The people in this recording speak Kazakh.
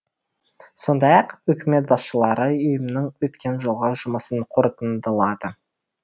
сондай ақ үкімет басшылары ұйымның өткен жылғы жұмысын қорытындылады